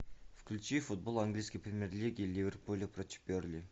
включи футбол английской премьер лиги ливерпуля против бернли